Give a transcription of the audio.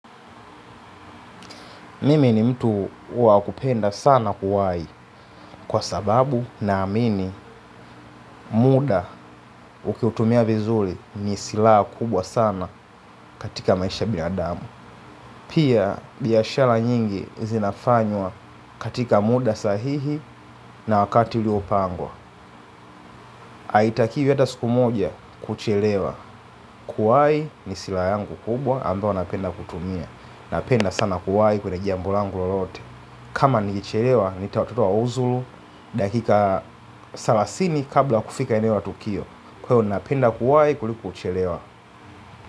Mimi ni mtu wakupenda sana kuwai kwa sababu naamini muda ukiutumia vizuri ni silaha kubwa sana katika maisha ya binadamu. Pia biashara nyingi zinafanywa katika muda sahihi na wakati ulio pangwa. Haitakiwi hata siku moja kuchelewa kuwai ni sila yangu kubwa ambao napenda kutumia. Napenda sana kuwai kwenye jambo langu lolote. Kama nilichelewa, nitatozwa ushuru. Dakika thelathini kabla kufika eneo la Tukio Kwa hiyo ninapenda kuwai kuliko kuchelewa.